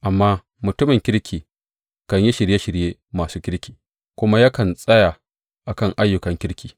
Amma mutumin kirki kan yi shirye shirye masu kirki, kuma yakan tsaya a kan ayyukan kirki.